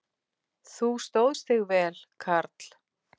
Þú stóðst þig vel, karl.